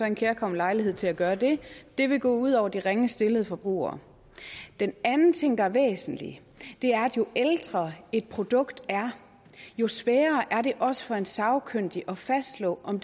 en kærkommen lejlighed til at gøre det det vil gå ud over de ringest stillede forbrugere den anden ting der er væsentlig er jo ældre et produkt er jo sværere er det også for en sagkyndig at fastslå om